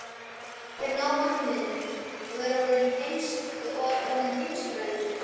Ég hafði náð markmiðinu: Ég var orðinn heimsfrægur.